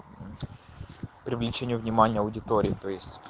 привлечение внимания аудитории